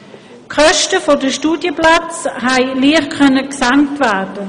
Die Kosten der Studienplätze konnten leicht gesenkt werden.